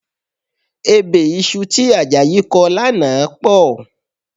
Ebè iṣu tí Àjàyí kọ lánàá pọ̀